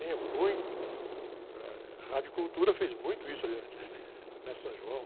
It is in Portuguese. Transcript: muito, eh, ãh, a Radio Cultura fez muito isso ali na, na São João.